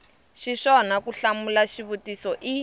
xiswona ku hlamula xivutiso i